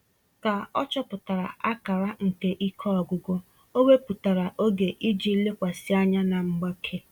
Ka ọ chọpụtara akara nke ike ọgwụgwụ, o wepụtara oge iji lekwasị anya na mgbake.